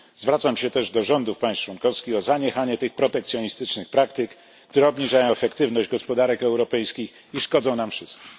Zwracam się też do rządów państw członkowskich o zaniechanie tych protekcjonistycznych praktyk, które obniżają efektywność gospodarek europejskich i szkodzą nam wszystkim.